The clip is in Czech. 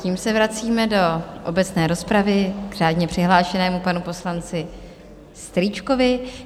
Tím se vracíme do obecné rozpravy k řádně přihlášenému panu poslanci Strýčkovi.